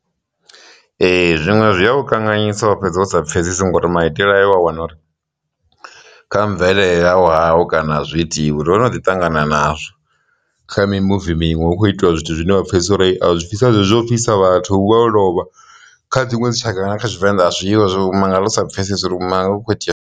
Ee, zwiṅwe zwi a u kanganyisa wa fhedza wo sa pfhesesi ngori maitele ayo wa wana uri kha mvelele yau hao kana zwi itiwi ro no ḓi ṱangana nazwo kha mimuvi miṅwe hu khou itiwa zwithu zwine vha pfhesesesa uri a zwi bvisa zwezwo fisa vhathu hu vha ho lovha kha dziṅwe dzi tshaka kana kha tshivenḓa a zwivha zwo mangala u sa pfhesesi uri hu khou itea.